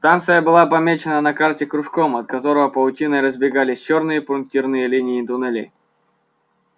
станция была помечена на карте кружком от которого паутиной разбегались чёрные пунктирные линии туннелей